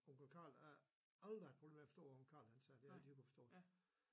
Onkel Carl havde aldrig haft problemer med at forstå hvad onkel Carl han sagde det havde jeg altid kunne forstå det